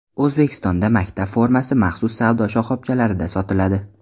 O‘zbekistonda maktab formasi maxsus savdo shoxobchalarida sotiladi.